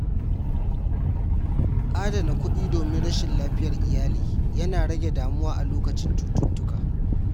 Adana kuɗi domin rashin lafiyar iyali yana rage damuwa a lokacin cututtuka.